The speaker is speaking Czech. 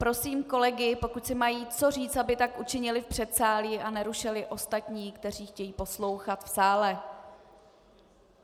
Prosím kolegy, pokud si mají co říct, aby tak učinili v předsálí a nerušili ostatní, kteří chtějí poslouchat v sále.